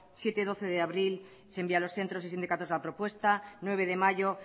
siete doce de abril se envía a los centros y sindicatos la propuesta nueve de mayo